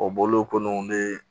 O bɔlen kɔ nn ne